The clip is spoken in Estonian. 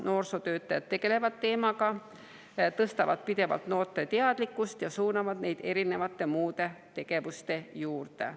Noorsootöötajad tegelevad teemaga, tõstavad pidevalt noorte teadlikkust ja suunavad neid muude tegevuste juurde.